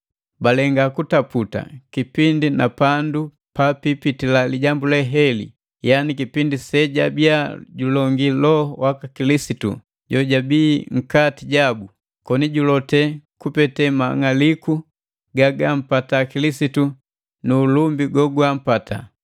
Balenga kutaputa kipindi na pandu papipitila lijambu heli, yani kipindi sejabiya julongi Loho waka Kilisitu jojabi nkati jabu, koni julote kupete mang'aliku gagampata Kilisitu nu ulumbi gogwampata.